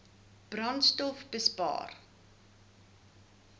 brandstofbespaar